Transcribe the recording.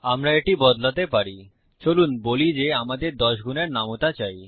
আমরা এটি বদলাতে পারি চলুন বলি যে আমাদের 10 গুনের নামতা চাই